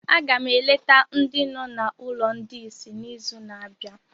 Aga m eleta ndị nọ na ụlọ ndị ìsì n'izu na-abịa